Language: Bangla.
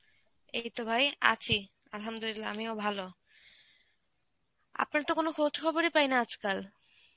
এই তো ভাই আছি Arbi আমিও ভালো. আপনার তো কোনো খোজ খবরই পাই না আজকাল.